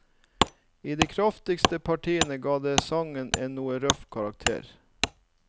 I de kraftigste partiene ga det sangen en noe røff karakter.